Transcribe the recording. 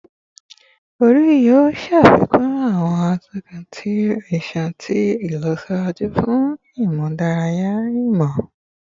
Ori yoo ṣafikun awọn atọkun ti iṣan ti ilọsiwaju fun imudara imọ